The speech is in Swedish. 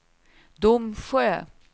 Domsjö